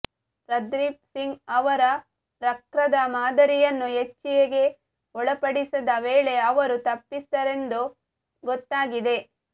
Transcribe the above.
ಪರ್ದೀಪ್ ಸಿಂಗ್ ಅವರ ರಕ್ರದ ಮಾದರಿಯನ್ನು ಎಚ್ಜಿಹೆಚ್ ಗೆ ಒಳಪಡಿಸಿದ ವೇಳೆ ಅವರು ತಪ್ಪಿತಸ್ಥರೆಂದು ಗೊತ್ತಾಗಿದೆ